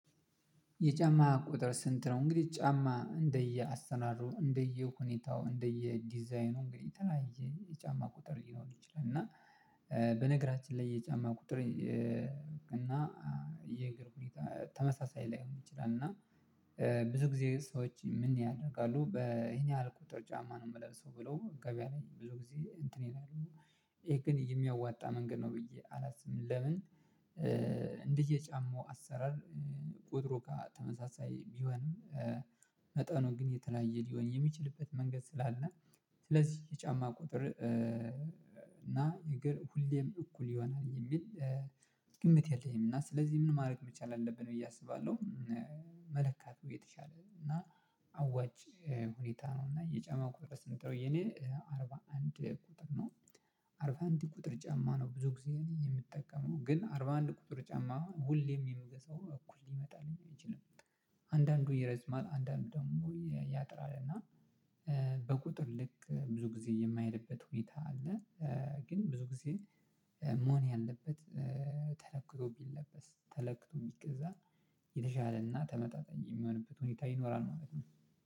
የጫማ ቁጥር ስንት? ነው እንግዲህ ጫማ እንደየ አሰራሩ እንደየ ሁኔታው እንደየ ዲዛይኑ እንግዲህ የተለያየ የጫማ ቁጥር ሊሆን ይችላል። እና በነገራችን ላይ የጫማ ቁጥር። እና የእግር ሁኔታ ተመሳሳይ ላይሆን ይችላል። እና ብዙ ጊዜ ሰዎች ምን ያደርጋሉ በይሄን ያህል ቁጥር ጫማ ነው የምለሰው ብለው ገበያ ላይ ብዙ ጊዜ እንትን ይላሉ። ይሄ ግን የሚያዋጣ መንገድ ነው ብዬ አላስብም። ለምን እንደየ የጫማው አሰራር ቁጥሩ ተመሳሳይ ቢሆንም መጠኑ ግን የተለያየ ሊሆን የሚችልበት መንገድ ስላለ። ስለዚህ የጫማ ቁጥር እና የእግር ሁሌም እኩል ይሆናል የሚል ግምት የለኝም። እና ስለዚህ ምን ማድረግ መቻል አለብን ብዬ አስባለሁ። መለካቱ የተሻለ ነው እና አዋጭ ሁኔታ ነው እና የጫማ ቁጥር ስንት ነው የኔ አርባ አንድ ቁጥር ነው። አርባ አንድ ቁጥር ጫማ ነው ብዙ ጊዜ እኔ የምጠቀመው ግን አርባ አንድ ቁጥር ጫማ ሁሌም የምገዛው እኩል ሊመጣልኝ አይችልም። አንዳንዱ ይረዝማል አንዳንዱ ደግሞ ያጥራል እና በቁጥር ልክ ብዙ ጊዜ የማይሄድበት ሁኔታ አለ። ግን ብዙ ጊዜ መሆን ያለበት ተለክቶ ቢለበስ ተለክቶ ቢገዛ የተሻለና ተመጣጣኝ የሚሆንበት ሁኔታ ይኖራል። ማለት ነው